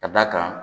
Ka d'a kan